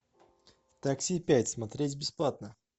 такси пять смотреть бесплатно